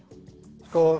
og